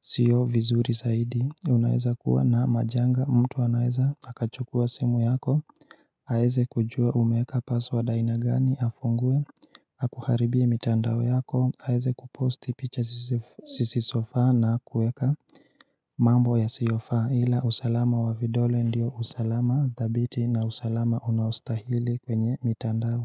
siyo vizuri zaidi unaeza kuwa na majanga mtu anaeza akachukua simu yako aeze kujua umeeka password aina gani afungue akuharibie mitandao yako aeze kuposti picha zisi sisi sofa na kuweka mambo yasiofa ila usalama wa vidole ndio usalama dhabiti na usalama unaostahili kwenye mitandao.